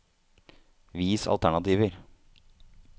Vis alternativer